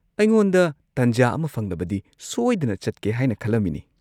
ꯑꯩꯉꯣꯟꯗ ꯇꯟꯖꯥ ꯑꯃ ꯐꯪꯂꯕꯗꯤ ꯁꯣꯏꯗꯅ ꯆꯠꯀꯦ ꯍꯥꯏꯅ ꯈꯜꯂꯝꯃꯤꯅꯤ꯫